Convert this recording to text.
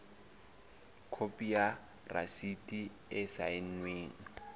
khopi ya rasiti e saennweng